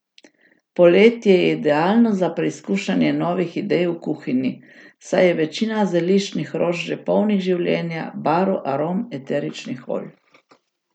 Poletje je idealno za preizkušanje novih idej v kuhinji, saj je večina zeliščnih rož že polnih življenja, barv, arom, eteričnih olj.